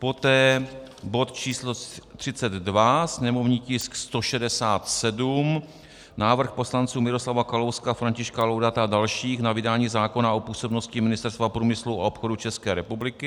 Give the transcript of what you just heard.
Poté bod číslo 32, sněmovní tisk 167 - Návrh poslanců Miroslava Kalouska, Františka Laudáta a dalších na vydání zákona o působnosti Ministerstva průmyslu a obchodu České republiky.